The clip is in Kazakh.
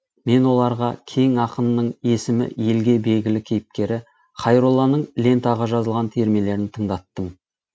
мен оларған кең ақынның есімі елге белгілі кейіпкері хайролланың лентаға жазылған термелерін тыңдаттым